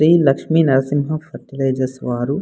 Shri Lakshmi Narasimha fertilizers వారు --